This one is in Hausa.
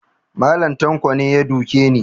Mallam tanko ne ya duke ni